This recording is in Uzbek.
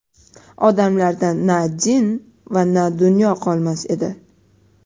odamlarda na din va na dunyo qol‎mas edi.‏.